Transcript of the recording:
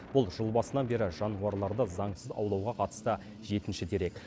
бұл жыл басынан бері жануарларды заңсыз аулауға қатысты жетінші дерек